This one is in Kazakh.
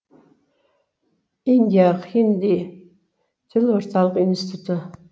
индия хинди тілі орталық институты